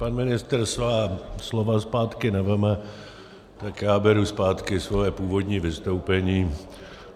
Pan ministr svá slova zpátky nevezme, tak já beru zpátky svoje původní vystoupení.